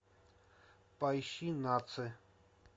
поищи наци